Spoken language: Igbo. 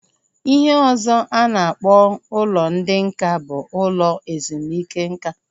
Ihe ọzọ a na-akpọ ụlọ ndị nká bụ ụlọ ezumike nká